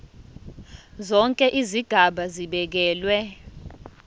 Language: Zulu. zonke izigaba zibekelwe